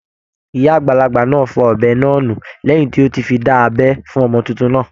Ìyá àgbàlagbà náà fọ ọ̀bẹ náà nù lẹ́hìn tí ó ti fi dá abẹ́ fún ọmọ titun náà.